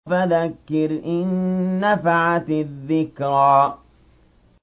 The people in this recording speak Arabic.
فَذَكِّرْ إِن نَّفَعَتِ الذِّكْرَىٰ